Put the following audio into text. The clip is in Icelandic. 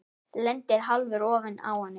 Lendir hálfur ofan á henni.